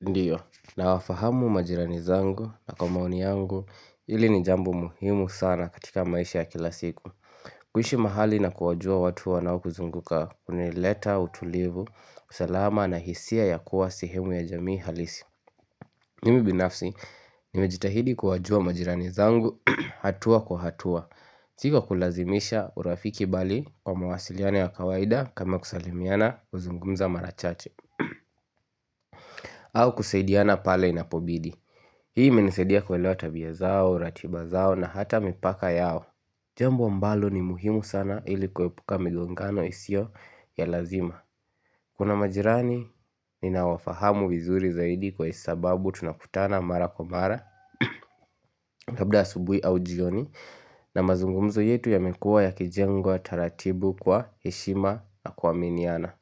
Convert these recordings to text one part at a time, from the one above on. Ndiyo, nawafahamu majirani zangu na kwa maoni yangu hili ni jambo muhimu sana katika maisha ya kila siku. Kuishi mahali na kuwajua watu wanaokuzunguka hunileta utulivu, usalama na hisia ya kuwa sehemu ya jamii halisi. Mimi binafsi, nimejitahidi kuwajua majirani zangu, hatua kwa hatua. Si wa kulazimisha urafiki bali kwa mawasiliano ya kawaida kama kusalimiana, kuzungumza mara chache. Au kusaidiana pale inapobidi Hii imenisaidia kuelewa tabia zao, ratiba zao na hata mipaka yao Jambo ambalo ni muhimu sana ili kuepuka migongano isiyo ya lazima Kuna majirani ninawafahamu vizuri zaidi kwa sababu tunakutana mara kwa mara Labda asubuhi au jioni na mazungumzo yetu yamekuwa yakijengwa taratibu kwa heshima na kuaminiana.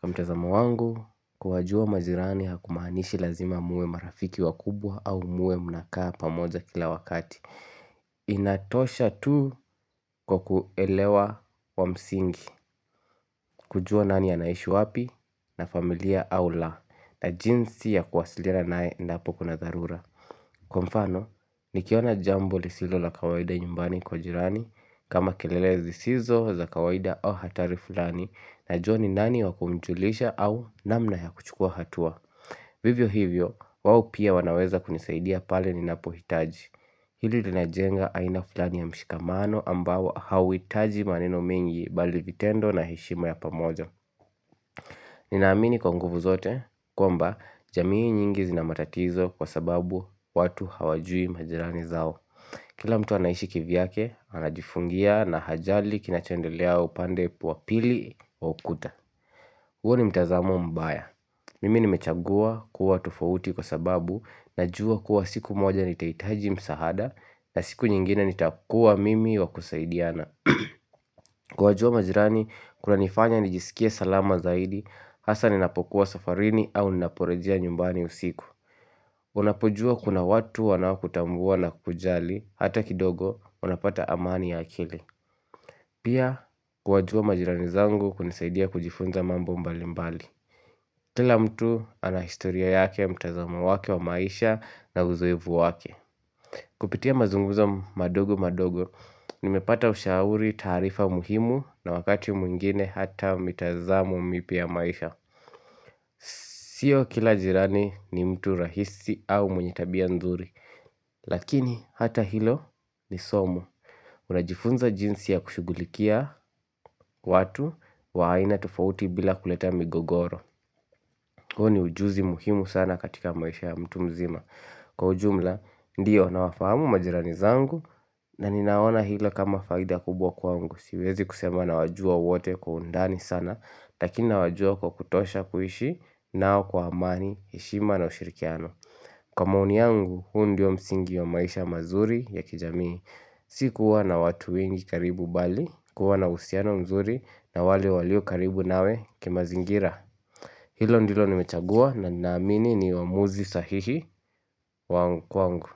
Kwa mtazamo wangu, kuwajua majirani hakumaanishi lazima muwe marafiki wakubwa au muwe mnakaa pamoja kila wakati inatosha tu kwa kuelewa wa msingi, kujua nani anaishi wapi na familia au la. Na jinsi ya kuwasiliana naye endapo kuna dharura Kwa mfano, nikiona jambo lisilo la kawaida nyumbani kwa jirani kama kelele zisizo za kawaida au hatari fulani najua ni nani wakumjulisha au namna ya kuchukua hatua. Vivyo hivyo, wao pia wanaweza kunisaidia pale ninapohitaji. Hili linajenga aina fulani ya mshikamano ambao hauhitaji maneno mengi bali vitendo na heshima ya pamoja. Ninaamini kwa nguvu zote kwamba jamii nyingi zina matatizo kwa sababu watu hawajui majirani zao. Kila mtu anaishi kivyake, anajifungia na hajali kinachendelea upande wa pili wa ukuta. Huo ni mtazamo mbaya. Mimi nimechagua kuwa tofauti kwa sababu najua kuwa siku moja nitahitaji msaada na siku nyingine nitakua mimi wa kusaidiana. Kuwajua majirani kunanifanya nijiskie salama zaidi, hasa ninapokuwa safarini au ninaporejea nyumbani usiku. Unapojua kuna watu wanaokutambua na kukujali hata kidogo, unapata amani ya akili. Pia, kuwajua majirani zangu hunisaidia kujifunza mambo mbali mbali. Kila mtu ana historia yake, mtazama wake wa maisha na uzoefu wake Kupitia mazungumzo madogo madogo Nimepata ushauri, taarifa muhimu na wakati mwingine hata mitazamo mipya ya maisha Sio kila jirani ni mtu rahisi au mwenye tabia nzuri Lakini hata hilo ni somo Unajifunza jinsi ya kushughulikia watu wa aina tofauti bila kuleta migogoro. Huo ni ujuzi muhimu sana katika maisha ya mtu mzima. Kwa ujumla, ndiyo nawafahamu majirani zangu na ninaona hilo kama faida kubwa kwangu. Siwezi kusema nawajua wote kwa undani sana, lakini nawajua kwa kutosha kuishi nao kwa amani, heshima na ushirikiano. Kwa maoni yangu, huu ndio msingi wa maisha mazuri ya kijamii. Si kuwa na watu wengi karibu bali kuwa na uhusiano mzuri na wale walio karibu nawe kimazingira. Hilo ndilo nimechagua na naamini ni uamuzi sahihi wa kwangu.